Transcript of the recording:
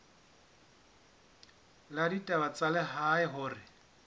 la ditaba tsa lehae hore